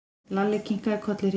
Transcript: Lalli kinkaði kolli hrifinn.